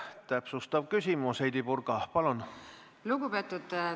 Täpsustav küsimus, Heidy Purga, palun!